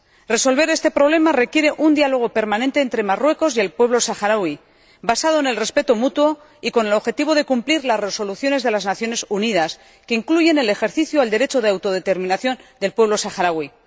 Resolver este problema requiere un diálogo permanente entre Marruecos y el pueblo saharaui, basado en el respeto mutuo y con el objetivo de cumplir las resoluciones de las Naciones Unidas que incluyen el ejercicio del derecho de autodeterminación del pueblo saharaui.